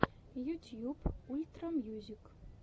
ютьюб ультра мьюзик